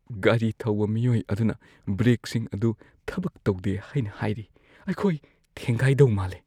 ꯒꯥꯔꯤ ꯊꯧꯕ ꯃꯤꯑꯣꯏ ꯑꯗꯨꯅ ꯕ꯭ꯔꯦꯛꯁꯤꯡ ꯑꯗꯨ ꯊꯕꯛ ꯇꯧꯗꯦ ꯍꯥꯏꯅ ꯍꯥꯏꯔꯤ꯫ ꯑꯩꯈꯣꯏ ꯊꯦꯡꯒꯥꯏꯗꯧ ꯃꯥꯜꯂꯦ꯫